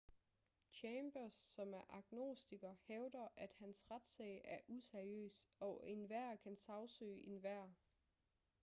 chambers som er agnostiker hævder at hans retssag er useriøs og enhver kan sagsøge enhver